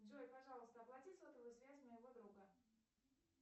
джой пожалуйста оплати сотовую связь моего друга